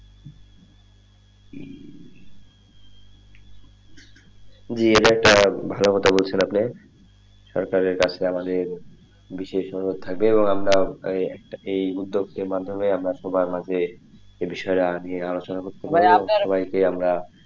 জি এটা একটা ভালো কথা বলছেন আপনি সরকারের কাছে আমাদের বিশেষ অনুরোধ থাকবে এবং আমরা এই উদ্যোগের মাধ্যমে আমরা সবার মাঝে এই বিষয়টা নিয়ে আলোচনা করতে পারবো সবাইকে আমরা,